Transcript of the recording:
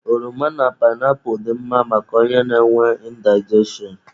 Oroma na painapu dị mma maka onye na-enwe indigestion.